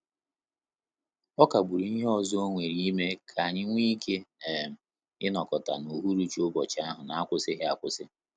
Ọ kagburu ihe ọzọ onwere ime ka anyị nwe ike um inokota na uhuruchi ụbọchị ahụ na akwusighi akwụsị